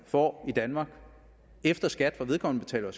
får i danmark efter skat for vedkommende betaler